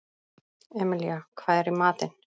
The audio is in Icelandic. Emilía, hvað er í matinn?